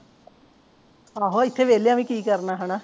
ਆਹੋ ਇੱਥੇ ਵੇਹਲਿਆਂ ਵੀ ਕਿ ਕਰਨਾ ਹੇਨਾ